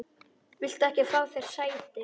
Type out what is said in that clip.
Viltu ekki fá þér sæti?